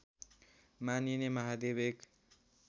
मानिने महादेव एक